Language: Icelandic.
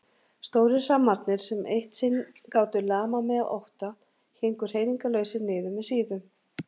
Stórir hrammarnir sem eitt sinn gátu lamað mig af ótta héngu hreyfingarlausir niður með síðum.